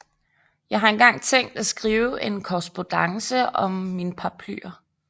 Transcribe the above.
Jeg har engang tænkt at skrive en Korrespondance om mine Paraplyer